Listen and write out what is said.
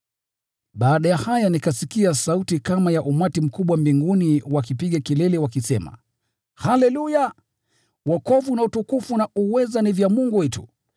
Baada ya haya nikasikia sauti kama ya umati mkubwa mbinguni wakipiga kelele wakisema: “Haleluya! Wokovu na utukufu na uweza ni vya Mungu wetu,